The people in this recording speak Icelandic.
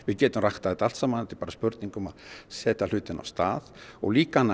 getum ræktað þetta allt saman það er bara spurning um að setja hlutina af stað og líka annað